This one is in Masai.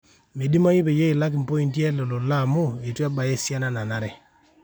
meidimayu peyie ilakie pointi ele lola amu eitu ebaya esiana nanare